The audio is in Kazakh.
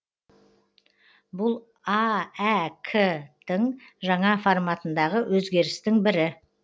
бұл аәк тің жаңа форматындағы өзгерістің бірі